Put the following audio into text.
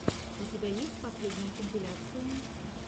у тебя есть последние компиляции